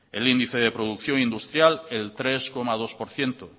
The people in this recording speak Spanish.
el índice de producción industrial el tres coma dos por ciento